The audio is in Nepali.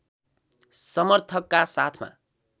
समर्थकका साथमा